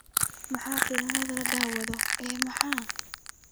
maxaa filimada la daawado i. max